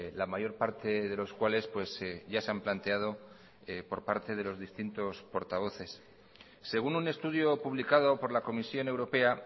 la mayor parte de los cuales ya se han planteado por parte de los distintos portavoces según un estudio publicado por la comisión europea